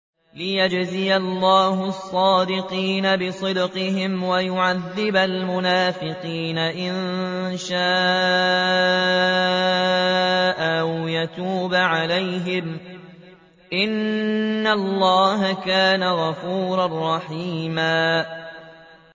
لِّيَجْزِيَ اللَّهُ الصَّادِقِينَ بِصِدْقِهِمْ وَيُعَذِّبَ الْمُنَافِقِينَ إِن شَاءَ أَوْ يَتُوبَ عَلَيْهِمْ ۚ إِنَّ اللَّهَ كَانَ غَفُورًا رَّحِيمًا